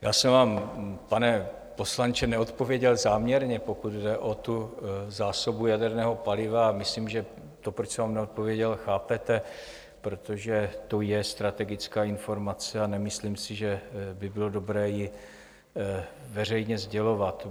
Já jsem vám, pane poslanče, neodpověděl záměrně, pokud jde o tu zásobu jaderného paliva, a myslím, že to, proč jsem vám neodpověděl, chápete, protože to je strategická informace, a nemyslím si, že by bylo dobré ji veřejně sdělovat.